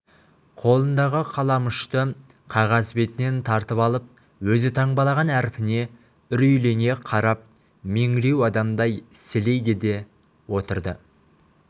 қолындағы қаламұшты қағаз бетінен тартып алып өзі таңбалаған әрпіне үрейлене қарап меңіреу адамдай сілейді де отырды